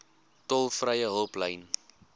tolvrye hulplyn